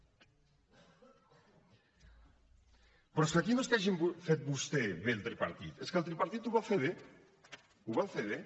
però és que aquí no és que hagin fet vostès bé al tripartit és que el tripartit ho va fer bé ho va fer bé